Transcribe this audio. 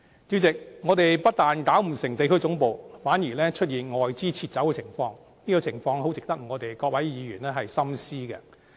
主席，我們不但設立地區總部失敗，更出現外資撤走的情況，這種情況十分值得各位議員深思。